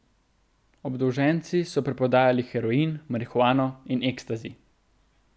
Obdolženci so preprodajali heroin, marihuano in ekstazi.